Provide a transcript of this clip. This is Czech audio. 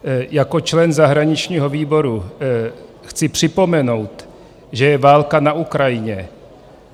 Jako člen zahraničního výboru chci připomenout, že je válka na Ukrajině.